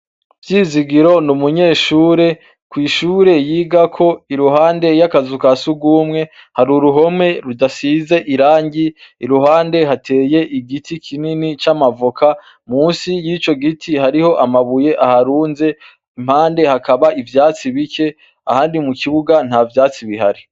Vyizigiro n’umunyeshure. Kw’ishure yigako, iruhande y'akazu ka sugumwe, hari uruhome rudasize irangi. Iruhande hateye igiti kinini c’amavoka, musi y’ico giti hariho amabuye aharunze, impande hakaba ivyatsi bike, ahandi mu kibuga nta vyatsi bihari.